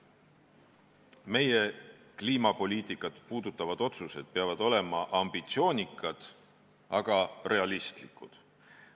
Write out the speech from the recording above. Meie kliimapoliitikat puudutavad otsused peavad olema ambitsioonikad, aga realistlikud.